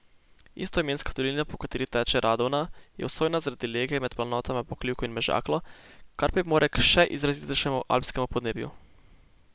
Istoimenska dolina, po kateri teče Radovna, je osojna zaradi lege med planotama Pokljuko in Mežaklo, kar pripomore k še izrazitejšemu alpskemu podnebju.